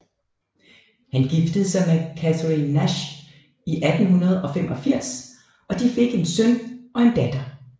Han giftede sig med Katherine Nash i 1885 og de fik en søn og datter